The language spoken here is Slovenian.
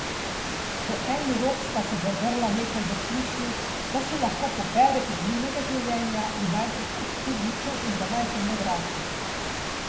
V en rog sta se zadrla nekaj v smislu, da se lahko pobere iz njunega življenja in naj gre kar k hudiču in da naj se ne vrača.